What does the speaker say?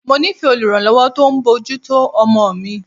Mo nífẹ̀ẹ́ oluranlowo tó ń bójú tó ọmọ mi.